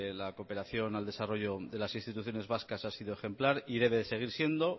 la cooperación al desarrollo de las instituciones vascas ha sido ejemplar y debe seguir siendo